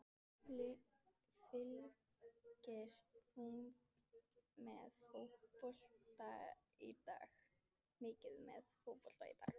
Fylgist þú mikið með fótbolta í dag?